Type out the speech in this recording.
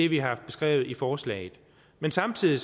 vi har beskrevet i forslaget men samtidig